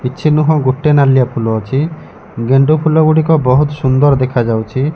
କିଛି ନୁହଁ ଗୋଟେ ନାଳିଆ ଫୁଲ ଅଛି ଗେନ୍ଦୁ ଫୁଲ ଗୁଡ଼ିକ ବହୁତ୍ ସୁନ୍ଦର ଦେଖାଯାଉଛି।